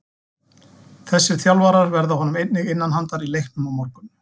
Þessi þjálfarar verða honum einnig innan handar í leiknum á morgun.